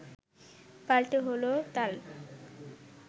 পাল্টে হলো তাল